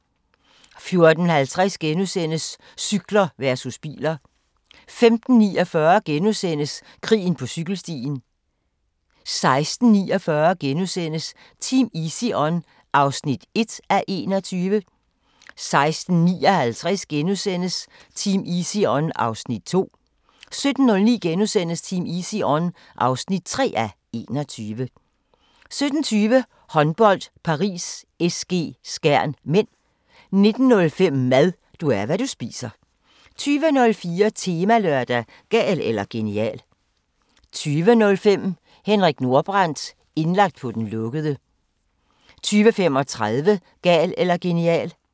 14:50: Cykler versus biler * 15:49: Krigen på cykelstien * 16:49: Team Easy On (1:21)* 16:59: Team Easy On (2:21)* 17:09: Team Easy On (3:21)* 17:20: Håndbold: Paris SG-Skjern (m) 19:05: Mad – du er, hvad du spiser 20:04: Temalørdag: Gal eller genial 20:05: Henrik Nordbrandt – indlagt på den lukkede 20:35: Gal eller genial